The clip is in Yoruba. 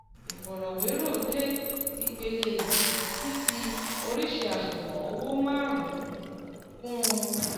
ìfọrọwérọ̀ dé ipele yìí ti fi oríṣii àṣùwọ̀n owó márùn-ún kùn - un